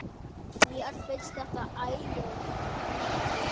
Mér finnst þetta æðisleg lög.